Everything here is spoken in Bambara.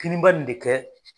Kinin ba in de kɛ